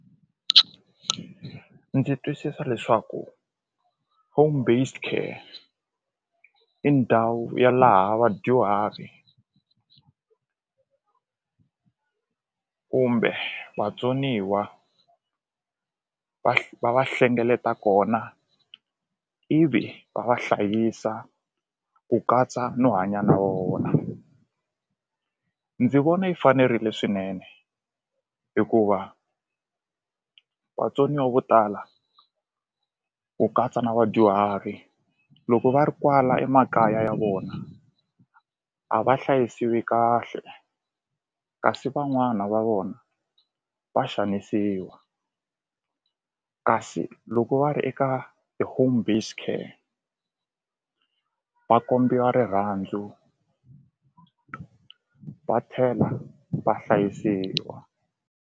Ndzi twisisa leswaku home based care i ndhawu ya laha vadyuhari kumbe vatsoniwa va va hlengeleta kona ivi va va hlayisa ku katsa no hanya na vona ndzi vona yi fanerile swinene hikuva vatsoniwa vo tala ku katsa na vadyuhari loko va ri kwala emakaya ya vona a va hlayisiwi kahle kasi van'wana va vona va xanisiwa kasi loko va ri eka a home based care va kombisa rirhandzu va tlhela va hlayisiwa.